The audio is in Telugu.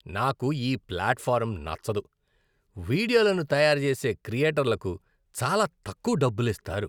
నాకు ఈ ప్లాట్ఫారమ్ నచ్చదు. వీడియోలను తయారుచేసే క్రియేటర్లకు చాలా తక్కువ డబ్బులిస్తారు.